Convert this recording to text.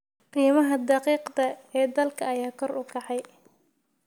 Qiimaha daqiiqda ee dalkan ayaa kor u kacay